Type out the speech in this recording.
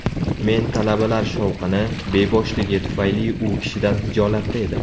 Men talabalar shovqini, beboshligi tufayli u kishidan xijolatda edim.